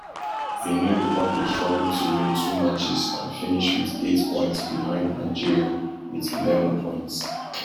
benin republic struggle to win two matches and finish wit eight points behind nigeria wit eleven points